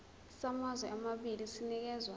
samazwe amabili sinikezwa